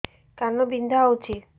କାନ ବିନ୍ଧା ହଉଛି